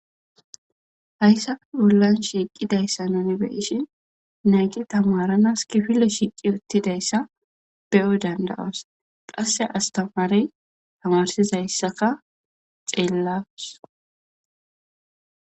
Hayssafe bollan shiiqidayssa nuni be7ishin naythi thamaranas kifille shiiqi uththidayssa be7o dandda7os; qasse asthamare thamarsizayssaka xeellas.